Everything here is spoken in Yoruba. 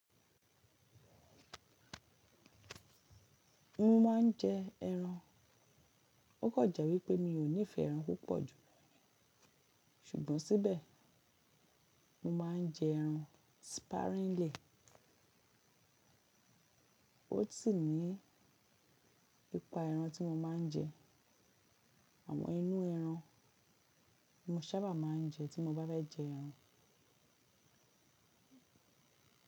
Mo maa n je ẹran. O ko jẹ́ wípé mi ò nífẹ́ ẹran púpọ̀ jú, ṣùgbọ́n síbẹ̀ mo maa n je ẹran sparingly. Ó sì ní ipa ẹran tí mo ma n jẹ, àwọn inú ẹran mo sábà máa n jẹ tí mo bá fe jẹ ẹran.